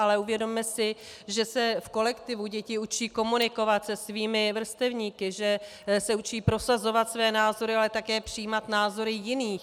Ale uvědomme si, že se v kolektivu děti učí komunikovat se svými vrstevníky, že se učí prosazovat své názory, ale také přijímat názory jiných.